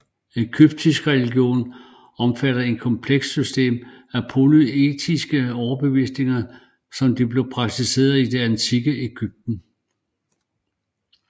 Egyptisk religion omfatter en komplekst system af polyteistiskes overbevisninger som de blev praktiseret i det antikke Egypten